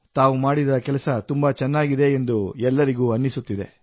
ತಾವು ಮಾಡಿದ ಕೆಲಸ ತುಂಬಾ ಚೆನ್ನಾಗಿದೆ ಎಂದು ಎಲ್ಲರಿಗೂ ಅನಿಸುತ್ತಿದೆ